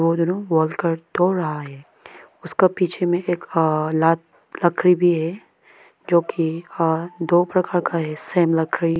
वो दोनों वॉल को तोड़ रहा है उसका पीछे में एक अ लात लकड़ी भी है जो कि अ दो प्रकार का हिस्से में लग रही --